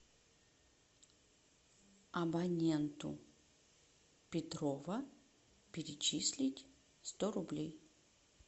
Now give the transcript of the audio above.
абоненту петрова перечислить сто рублей